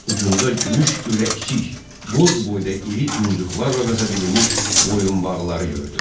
Ucunda gümüş ürəkcik, qoz boyda iri muncuqlarla vəzədilmiş boyunbağları gördü.